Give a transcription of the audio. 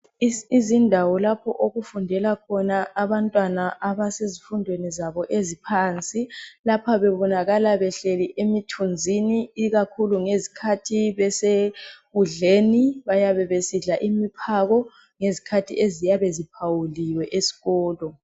Izindawo lapho okufundela khona abantwana abasezifundweni zabo eziphansi lapha bebonakaka behleli emithunzini ikakhulu ngezikhathi besekudleni bayabe besidla imiphako ngezikhathi eziyabe ziphawuliwe esikolo.